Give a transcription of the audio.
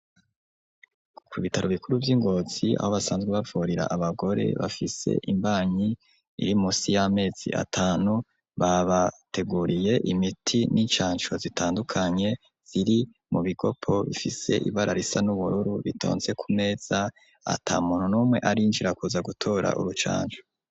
Ku bitaro bikuru vyi Ngozi aho basanzwe bavurira abagore bafise imbanyi iri munsi yamezi atanu babateguriye imiti n'incaco zitandukanye ziri mu bigopo bifise ibara risa n'ubururu bitonze ku meza atamuntu numwe arinjira kuza gutora urucanco.